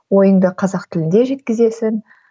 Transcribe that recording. ойыңды қазақ тілінде жеткізесің